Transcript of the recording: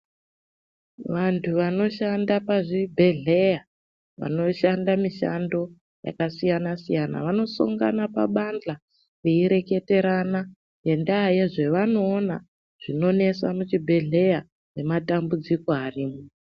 Vantu vanoshanda pazvibhedhleya vanoshanda mishando yakasiyana-siyana, vanosangana pabandhla, veireketerana ngendaa yezvavanoona zvinonesa muchibhedhleya, nematambudziko arimo.